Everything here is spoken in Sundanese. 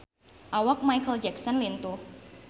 Awak Micheal Jackson lintuh